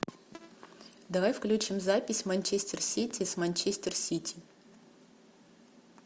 давай включим запись манчестер сити с манчестер сити